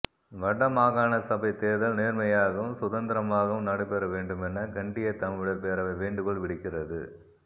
வட மாகாண சபைச் தேர்தல் நேர்மையாகவும் சுதந்திரமாகவும் நடைபெற வேண்டுமெனக் கனடியத் தமிழர் பேரவை வேண்டுகோள் விடுக்கிறது